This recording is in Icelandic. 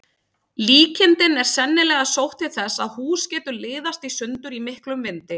Líkingin er sennilega sótt til þess að hús getur liðast í sundur í miklum vindi.